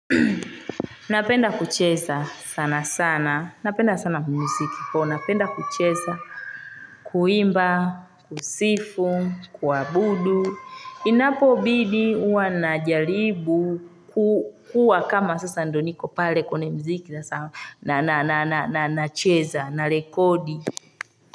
Napenda kucheza sana sana napenda sana mziki so napenda kucheza kuimba kusifu kuabudu inapo bidi huwa najaribu kuwa kama sasa ndio niko pale kwenye mziki na nacheza na rekodi.